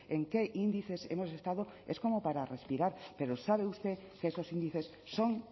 en qué índices hemos estado es como para respirar pero sabe usted que esos índices son